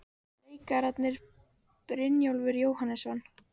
Leikararnir, Brynjólfur Jóhannesson